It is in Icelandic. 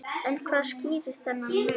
En hvað skýrir þennan mun?